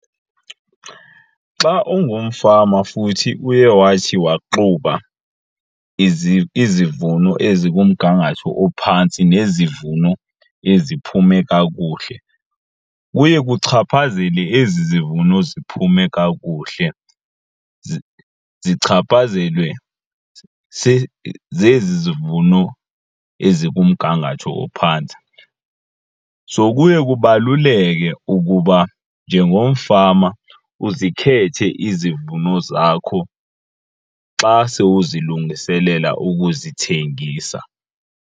Xa ungumfama futhi uye wathi waxuba izivuno ezikumgangatho ophantsi nezivuno eziphume kakuhle kuye kuchaphazele ezi zivuno ziphume kakuhle zichaphazelwe zezi zivuno ezikumgangatho ophantsi. So kuye kubaluleke ukuba njengomfama uzikhethe izivuno zakho xa se uzilungiselela ukuzithengisa.